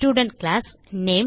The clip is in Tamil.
student class